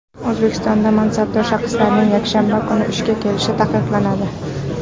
O‘zbekistonda mansabdor shaxslarning yakshanba kuni ishga kelishi taqiqlanadi.